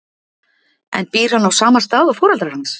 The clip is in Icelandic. En býr hann á sama stað og foreldrar hans?